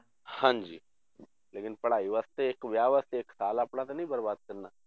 ਹਾਂਜੀ ਲੇਕਿੰਨ ਪੜ੍ਹਾਈ ਵਾਸਤੇ ਇੱਕ ਵਿਆਹ ਵਾਸਤੇ ਇੱਕ ਸਾਲ ਆਪਣਾ ਤਾਂ ਨੀ ਬਰਬਾਦ ਕਰਨਾ